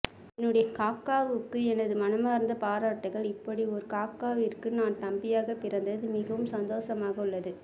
என்னுடைய காக்கா வுக்கு எனது மனமார்ந்த பாராட்டுக்கள் இப்படி ஒரு காக்காவிற்கு நான் தம்பியாக பிறந்தது மிகவும் சந்தோசமாக உள்ளது